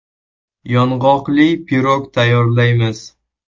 Yong‘oqli pirog tayyorlaymiz.